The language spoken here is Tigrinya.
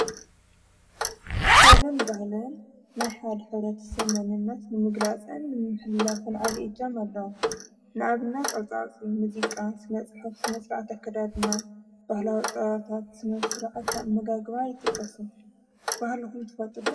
ጥበብን በህልን ናይ ሓድ ኅደት ሰመንነት ንምግላጸን ንሕላፍን ዓቢ እጃም ኣለዉ ንኣብናት ዕልፃፂ ምዚቃ ስነጽ ሕፍ ስነ ሥርዓት ኣከዳድና ባህላወፃዋታት ስምፍ ሥርዓት መጋግባ ይጥቅሱ ባህልኹም ትፈጥዶ?